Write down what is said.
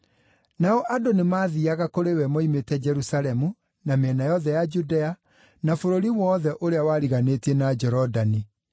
Nao andũ nĩmathiiaga kũrĩ we moimĩte Jerusalemu, na mĩena yothe ya Judea, na bũrũri wothe ũrĩa wariganĩtie na Jorodani.